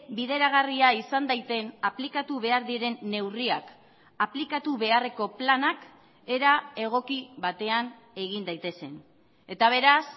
bideragarria izan daiten aplikatu behar diren neurriak aplikatu beharreko planak era egoki batean egin daitezen eta beraz